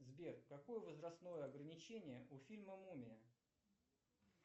сбер какое возрастное ограничение у фильма мумия